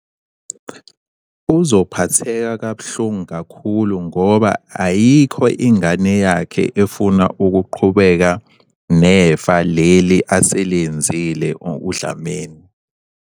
Uzophatheka kabuhlungu kakhulu ngoba ayikho ingane yakhe efuna ukuqhubeka nefa leli aselenzile uDlamini.